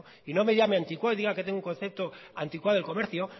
y no me llame anticuado y diga que tengo un concepto anticuado del comercio